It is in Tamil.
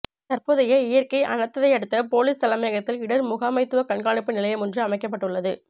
தற்போதைய இயற்கை அனர்த்தத்தையடுத்து பொலிஸ் தலைமையகத்தில் இடர் முகாமைத்துவ கண்காணிப்பு நிலையமொன்று அமைக்கப்பட்டுள்ளது